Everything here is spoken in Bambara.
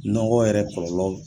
Nɔgɔ yɛrɛ kɔlɔlɔ